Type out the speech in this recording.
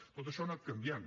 tot això ha anat canviant